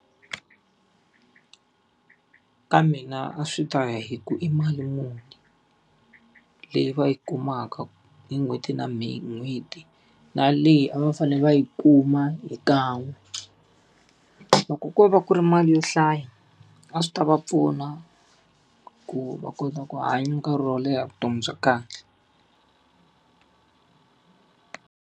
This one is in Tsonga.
Ka mina a swi ta ya hi ku i mali muni leyi va yi kumaka hi n'hweti na n'hweti, na leyi a va fanele va yi kuma hi kan'we. Loko ko va ku ri mali yo hlaya, a swi ta va pfuna ku va kota ku hanya nkarhi wo leha vutomi bya kahle.